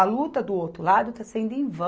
A luta do outro lado está sendo em vão.